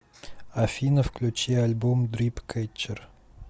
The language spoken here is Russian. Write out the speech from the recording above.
афина включи альбом дрип кэтчер